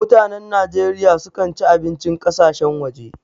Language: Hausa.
Mutanan Najeriya sukan ci abincin ƙasashen waje.